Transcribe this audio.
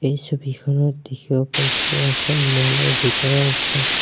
এই ছবিখনত দেখিব পাইছোঁ যে এখন ম'ল ৰ ভিতৰৰ অংশ।